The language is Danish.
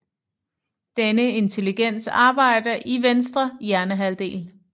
Denne intelligens arbejder i venstre hjernehalvdel